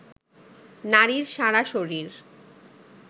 নারীর সারা শরীর